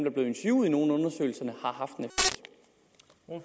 interviewet i nogle af undersøgelserne